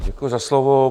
Děkuji za slovo.